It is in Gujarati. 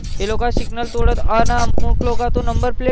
એ લોકો signal તોડે અને અમુક લોકો ન તો નંબર plate